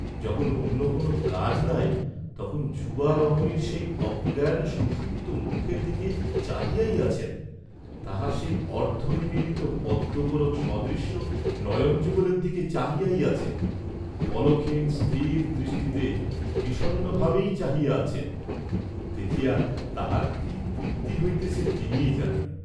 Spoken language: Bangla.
যখন অন্য কোনও কাজ নাই, তখন যুবা রমণীর সেই অজ্ঞান সুষুপ্ত মুখের দিকে চাহিয়াই আছেন, তাহার সেই অর্দ্ধনিমীলিত পদ্মকোরক সদৃশ নয়নযুগলের দিকে চাহিয়াই আছেন, পলকহীন স্থির দৃষ্টিতে বিষন্নভাবেই চাহিয়া আছেন, দেখিয়া তাঁহার কি তৃপ্তি হইতেছে তিনিই জানেন।